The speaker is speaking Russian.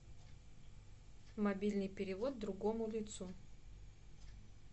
мобильный перевод другому лицу